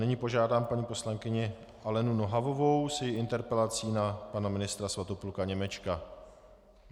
Nyní požádám paní poslankyni Alenu Nohavovou s její interpelací na pana ministra Svatopluka Němečka.